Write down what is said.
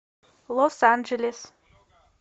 лос анджелес